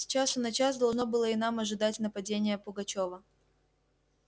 с часу на час должно было и нам ожидать нападения пугачёва